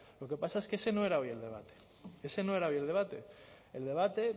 lo que pasa es que ese no era hoy el debate ese no era hoy el debate el debate